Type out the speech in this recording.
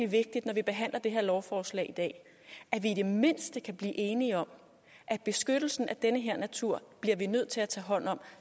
vigtigt når vi behandler det her lovforslag i dag at vi i det mindste kan blive enige om at beskyttelsen af den her natur bliver vi nødt til at tage hånd om